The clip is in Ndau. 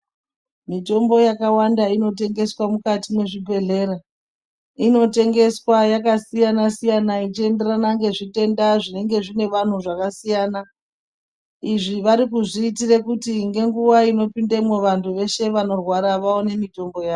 Mitombo yakawanda inotengeswa mukati mwezvibhedhlera. Inotengeswa yakasiyana-siyana ichienderana ngezvitenda zvinenge zvine vantu zvakasiyana. Izvi varikuzviitire kuti ngenguva inopindemwo vantu veshe vanorwara vaone mitombo yavo.